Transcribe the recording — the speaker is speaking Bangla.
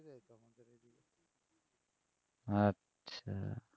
আচ্ছা